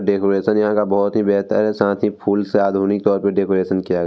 Decoration यहाँ का बोहोत ही बेहतर है साथ ही फूल से आधुनिक तौरपे डेकोरेशन किया गया है।